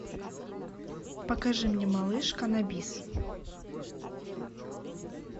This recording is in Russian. покажи мне малышка на бис